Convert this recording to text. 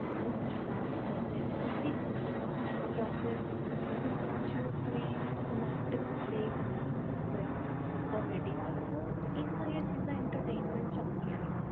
group ਚ dance ਕਰ ਰਿਹਾ ਕੁਛ ਭੀ ਕਰ ਰਿਹਾ ਯਾ ਫੇਰ group ਚ ਕੋਈ ਨਾਟਕ play ਹੁੰਦਾ ਹੋਇਆ comedy ਆਲਾ ਤਾਂ ਇਹ ਸਾਰੀਆਂ ਚੀਜਾਂ entertainment ਚ ਆਉਂਦੀਆਂ ਨੇ